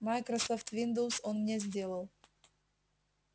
майкрософт виндоуз он мне сделал